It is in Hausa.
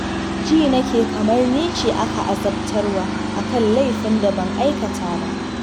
Ji na nake kamar ni ce ake azabtarwa a kan laifin da ban aikata ba